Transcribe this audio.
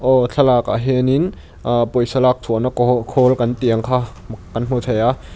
aw thlalakah hianin ahh pawisa lak chhuahna kawhaw khawl kan tih ang kha kan hmu thei a.